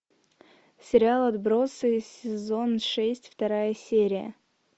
сериал отбросы сезон шесть вторая серия